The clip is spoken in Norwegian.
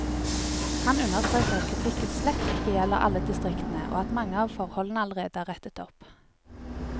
Han understreker at kritikken slett ikke gjelder alle distriktene, og at mange av forholdene allerede er rettet opp.